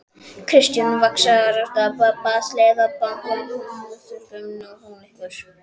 Kristján: Vaxtaákvörðun Seðlabankans, truflar hún ykkur?